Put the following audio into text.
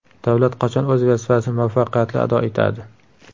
Davlat qachon o‘z vazifasini muvaffaqiyatli ado etadi?